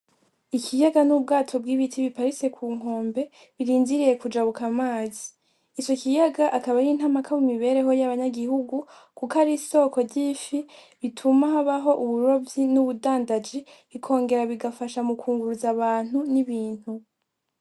Ikiyaga n'ubwato bw'ibiti biparitse ku nkombe birindiriye kujabuka amazi ico kiyaga akaba ari nka kama mu mibereho yabanyagihugu kuko ari isoko ry'ifi, bituma habaho uburovyi n'ubudandaji bikongera bigafasha mukunguruza abantu n'ibintu.